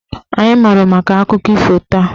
Anyị mụrụ maka akụkọ ifo taa.